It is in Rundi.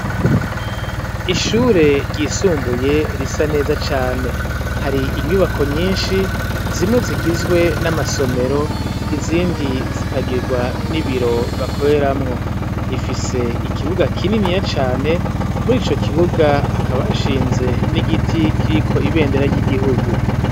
Ishure ryisumbuye risa neza cane hari inyubako nyinshi zimwe zigizwe n' amasomero izindi zikagigwa n' ibiro bakoreramwo zifise ikibuga kininiya cane muri ico kibuga hakaba hashinze n' igiti kiriko ibendera ry' igihugu.